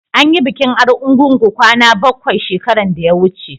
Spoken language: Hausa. an yi bikin argungu kwana bakwai shekaran da ya wuce